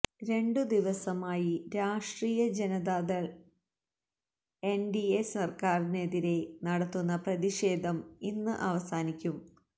രണ്ടു ദിവസമായി Rashtriya Janata Dal NDA സര്ക്കാരിനെതിരെ നടത്തുന്ന പ്രതിഷേധം ഇന്ന് അവസാനിക്കും